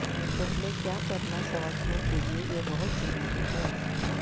پہلے کیا کرنا سمجھنے کے لئے یہ بہت ضروری ہے